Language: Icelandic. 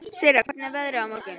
Sirra, hvernig er veðrið á morgun?